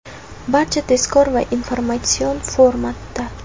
Barchasi tezkor va informatsion formatda.